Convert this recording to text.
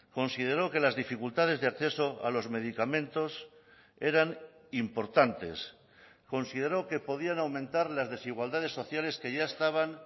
consideró que las dificultades de acceso a los medicamentos eran importantes consideró que podían aumentar las desigualdades sociales que ya estaban